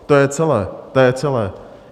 To je celé, to je celé.